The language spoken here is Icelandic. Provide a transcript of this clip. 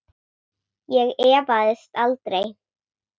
Ég efaðist aldrei.